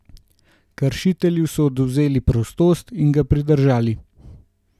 Kršitelju so odvzeli prostost in ga pridržali.